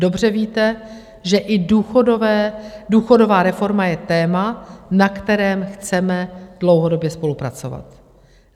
Dobře víte, že i důchodová reforma je téma, na kterém chceme dlouhodobě spolupracovat.